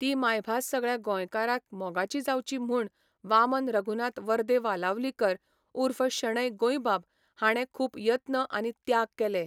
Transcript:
ती मायभास सगळ्या गोंयकारांक मोगाचीं जावची म्हूण वामन रघुनाथ वर्दे वालावलीकर उर्फ शणै गोंयबाब हाणें खूब यत्न आनी त्याग केले.